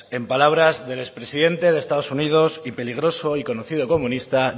en palabras del expresidente de estados unidos y peligroso y conocido comunista